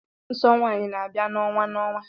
Nsọ nwanyị n'abia na-onwa na-onwa.